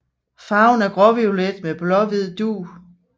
Farven er gråviolet med blåhvid dug